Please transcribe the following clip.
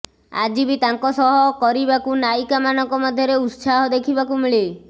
ଆଜି ବି ତାଙ୍କ ସହ କରିବାକୁ ନାୟିକା ମାନଙ୍କ ମଧ୍ୟରେ ଉତ୍ସାହ ଦେଖିବାକୁ ମିଳେ